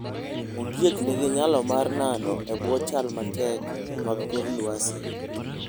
Ondiek nigi nyalo mar nano e bwo chal matek mag kor lwasi.